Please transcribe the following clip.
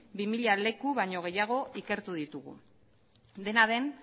bi mila leku baino gehiago ikertu ditugu dena den